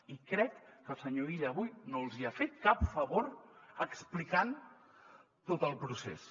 i crec que el senyor illa avui no els hi ha fet cap favor explicant tot el procés